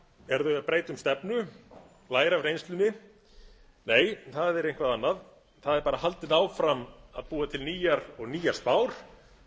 eru þau að breyta um stefnu læra af reynslunni nei það er eitthvað annað það er bara haldið áfram að búa til nýjar og nýjar spár